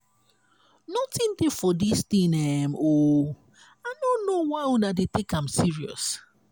nothin dey for dis thing um oo i no know why una dey take am serious.